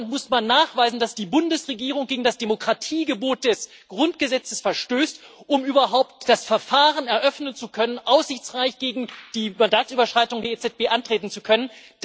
Aber in Deutschland muss man nachweisen, dass die Bundesregierung gegen das Demokratiegebot des Grundgesetzes verstößt, um überhaupt das Verfahren eröffnen zu können, um aussichtsreich gegen die Mandatsüberschreitung der EZB antreten zu können.